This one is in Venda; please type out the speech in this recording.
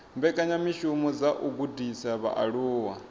mbekanyamishumo dza u gudisa vhaaluwa